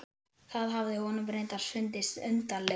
Það hafði honum reyndar fundist undarlegast.